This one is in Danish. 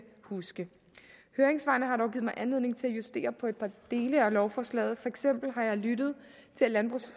huske høringssvarene har dog givet mig anledning til at justere på et par dele af lovforslaget for eksempel har jeg lyttet til at